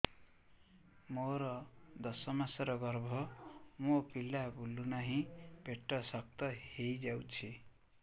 ମୋର ଦଶ ମାସର ଗର୍ଭ ମୋ ପିଲା ବୁଲୁ ନାହିଁ ପେଟ ଶକ୍ତ ହେଇଯାଉଛି